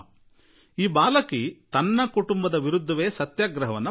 ಈ ಹೆಣ್ಣು ಮಗಳು ತನ್ನ ಕುಟುಂಬದವರ ವಿರುದ್ಧವೇ ಸತ್ಯಾಗ್ರಹ ಹೂಡಿಬಿಟ್ಟಳು